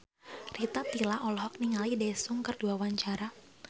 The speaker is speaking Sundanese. Rita Tila olohok ningali Daesung keur diwawancara